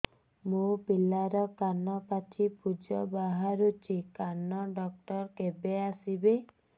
ମୋ ପିଲାର କାନ ପାଚି ପୂଜ ବାହାରୁଚି କାନ ଡକ୍ଟର କେବେ ଆସିବେ